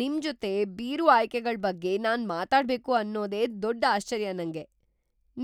ನಿಮ್ಜೊತೆ beer ಆಯ್ಕೆಗಳ್ ಬಗ್ಗೆ ನಾನ್‌ ಮಾತಾಡ್ಬೇಕು ಅನ್ನೋದೇ ದೊಡ್ಡ್‌ ಆಶ್ಚರ್ಯ ನಂಗೆ.